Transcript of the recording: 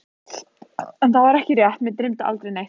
En það var ekki rétt, mig dreymdi aldrei neitt.